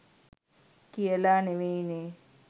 කියලා නෙවෙයිනේ